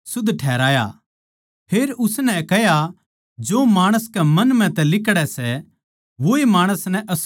फेर उसनै कह्या जो माणस म्ह तै लिकड़ै सै वोए माणस नै अशुध्द करै सै